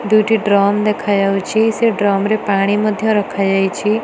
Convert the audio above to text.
ଦୁଇଟି ଡ୍ରମ ଦେଖା ଯାଉଅଛି ସେ ଡ୍ରମ ରେ ପାଣି ମଧ୍ୟ ରଖାଯାଇଛି।